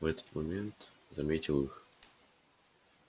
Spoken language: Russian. в этот момент заметил их